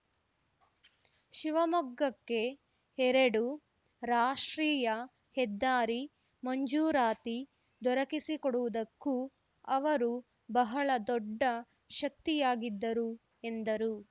ಶಿವಮೊಗ್ಗಕ್ಕೆ ಎರಡು ರಾಷ್ಟ್ರೀಯ ಹೆದ್ದಾರಿ ಮಂಜೂರಾತಿ ದೊರಕಿಸಿಕೊಡವುದಕ್ಕು ಅವರು ಬಹಳ ದೊಡ್ಡ ಶಕ್ತಿಯಾಗಿದ್ದರು ಎಂದರು